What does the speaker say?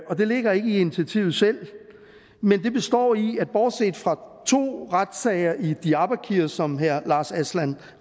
og det ligger ikke i initiativet selv men det består i at vi bortset fra to retssager i diyarbakir som herre lars aslan